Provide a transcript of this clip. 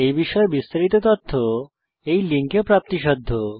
এই বিষয়ে বিস্তারিত তথ্য এই লিঙ্কে প্রাপ্তিসাধ্য